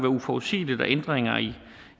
uforudsigeligt og ændringer i